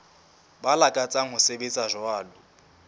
ba lakatsang ho sebetsa jwalo